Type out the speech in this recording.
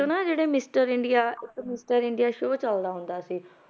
~ਚੋਂ ਨਾ ਜਿਹੜੇ mister India mister India show ਚੱਲਦਾ ਹੁੰਦਾ ਸੀ,